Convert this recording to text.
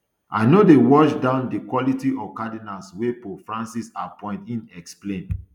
i no dey wash down di quality of di cardinals wey pope francis appoint im explain